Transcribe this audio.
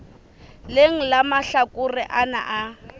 leng la mahlakore ana a